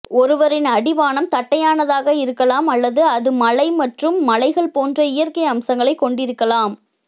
ஒருவரின் அடிவானம் தட்டையானதாக இருக்கலாம் அல்லது அது மலை மற்றும் மலைகள் போன்ற இயற்கை அம்சங்களைக் கொண்டிருக்கலாம்